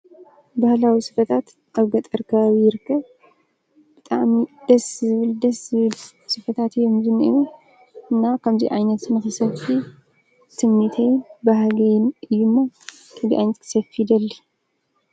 ባህላዊ ስፈታት ኣብ ገጠር ከባቢ ይርከብ፤ ብጣዕሚ ደስ ዝብል ስፈታት እዮም ዝንሄዉ እና ከምዚ ዓይነት ንክሰፊ ትምኒተይን ባህገይን እዩ ሞ ከምዚ ዓይነት ክሰፊ ይደሊ።